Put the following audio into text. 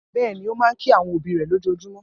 Bẹ́ẹ̀ ni, ó máa ń kí àwọn òbí rẹ̀ lójoojúmọ́.